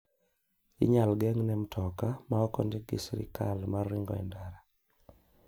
Inyal ngeng'ne mtoka ma ok ondiki gi sirkal mar ringo e ndara.